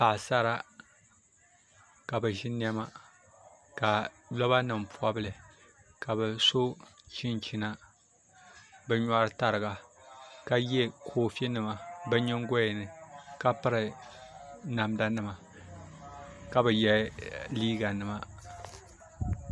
Paɣasara ka bi ʒi niɛma ka loba nim pobili ka bi so chinchina bi nyoɣu tariga ka yɛ koofi nima bi nyingoya ni ka piri namda nima ka bi yɛ liiga nima